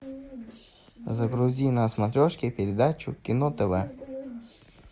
загрузи на смотрешке передачу кино тв